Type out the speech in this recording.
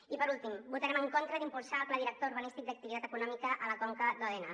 i per últim votarem en contra d’impulsar el pla director urbanístic d’activitat econòmica a la conca d’òdena